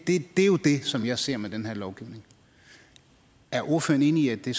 er jo det som jeg ser med den her lovgivning er ordføreren enig i at det